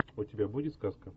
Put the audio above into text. у тебя будет сказка